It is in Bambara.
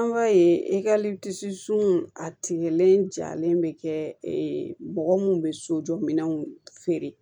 An b'a ye sun a tigɛlen jalen bɛ kɛ mɔgɔ minnu bɛ sojɔ minɛnw feere